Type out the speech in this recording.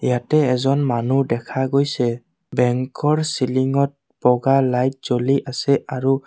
ইয়াতে এজন মানুহ দেখা গৈছে বেঙ্কৰ চিলিংত বগা লাইট জ্বলি আছে আৰু--